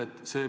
Aitäh!